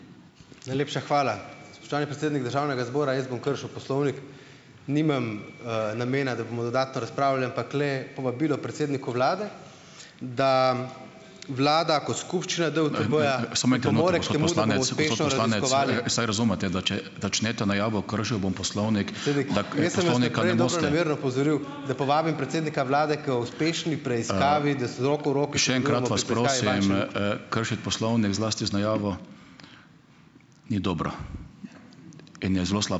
Najlepša hvala. Spoštovani predsednik državnega zbora, jaz bom kršil poslovnik. Nimam, namena, da bomo dodatno razpravljali, ampak le povabilo predsedniku vlade, da vlada kot skupščina DUTB-ja